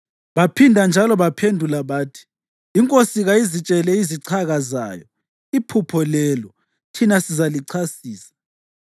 Baphinda njalo baphendula bathi, “Inkosi kayizitshele izichaka zayo iphupho lelo, thina sizalichasisa.”